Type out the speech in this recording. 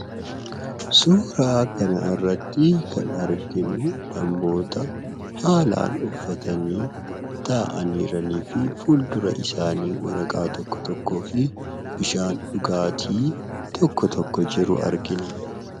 Suura kanarratti kan arginu suura namoota haalaan uffatanii, taa'anii jiranii fi fuuldura isaanii waraqaa tokko tokkoo fi bishaan dhugaatii tokko tokko jiru argina.